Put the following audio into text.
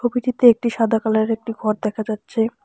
ছবিটিতে একটি সাদা কালার -এর একটি ঘর দেখা যাচ্ছে।